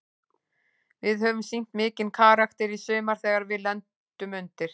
Við höfum sýnt mikinn karakter í sumar þegar við lendum undir.